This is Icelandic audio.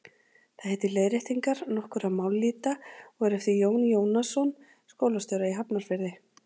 Það heitir Leiðréttingar nokkurra mállýta og er eftir Jón Jónasson skólastjóra í Hafnarfirði.